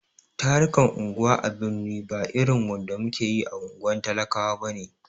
Tarukan unguwa a birni ba irin wanda muke yi a unguwar talakawa bane.